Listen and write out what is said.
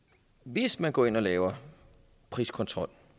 hvis man går ind og laver priskontrol